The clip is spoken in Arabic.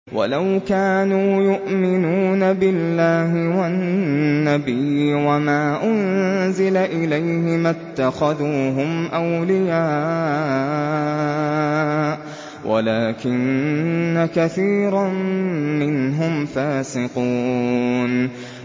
وَلَوْ كَانُوا يُؤْمِنُونَ بِاللَّهِ وَالنَّبِيِّ وَمَا أُنزِلَ إِلَيْهِ مَا اتَّخَذُوهُمْ أَوْلِيَاءَ وَلَٰكِنَّ كَثِيرًا مِّنْهُمْ فَاسِقُونَ